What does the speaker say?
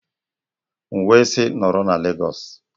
M wee sị, nọrọ na Lagos!